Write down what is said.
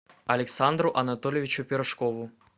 александру анатольевичу пирожкову